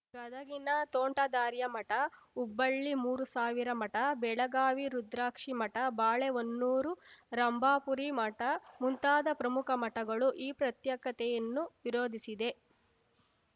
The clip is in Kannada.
ಗದಗಿನ ತೋಂಟದಾರ್ಯ ಮಠ ಹುಬ್ಬಳ್ಳಿ ಮೂರುಸಾವಿರ ಮಠ ಬೆಳಗಾವಿ ರುದ್ರಾಕ್ಷಿಮಠ ಬಾಳೆಹೊನ್ನೂರು ರಂಭಾಪುರಿ ಮಠ ಮುಂತಾದ ಪ್ರಮುಖ ಮಠಗಳು ಈ ಪ್ರತ್ಯೇಕತೆಯನ್ನು ವಿರೋಧಿಸಿದೆ